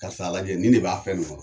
Karis'a lajɛ nin de b'a fɛn ni kɔnɔ